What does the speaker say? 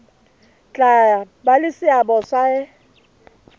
tla ba le seabo se